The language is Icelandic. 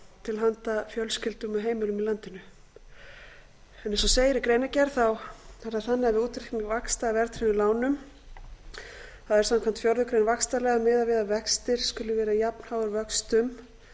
til handa fjölskyldum og heimilum í landinu eins og segir í greinargerð kemur það fram við útreikning vaxta af verðtryggðum lánum er samkvæmt fjórðu grein vaxtalaga miðað við að vextir skuli vera jafnháir vöxtum